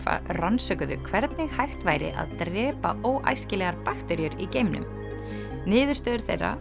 rannsökuðu hvernig hægt væri að drepa óæskilegar bakteríur í geimnum niðurstöður þeirra